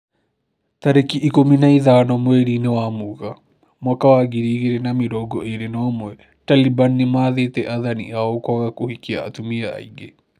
Tariki ikũmi na ithano mweri-inĩ wa Mũgaa mwaka wa ngiri igĩrĩ na mĩrongo ĩrĩ na ũmwe, Taliban nĩmathĩte athani ao kwaga kũhikia atumia aingĩ